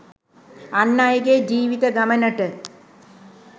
අන් අයගේ ජීවිත ගමනට